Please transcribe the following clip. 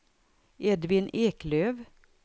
Edvin Eklöf